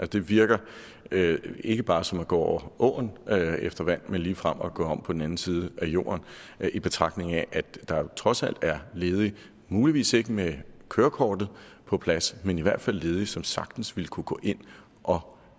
det virker ikke bare som at gå over åen efter vand men ligefrem som at gå om på den anden side af jorden i betragtning af at der jo trods alt er ledige muligvis ikke med kørekortet på plads men i hvert fald ledige som sagtens ville kunne gå ind og